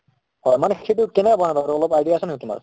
হয় মানে কেনেকে বনাই বাৰু অলপ idea আছে নেকি তোমাৰ